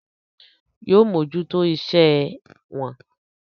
Yóò mójútó iṣẹ́ ẹ wọn.